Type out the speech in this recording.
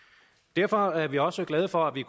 derfor er vi også glade for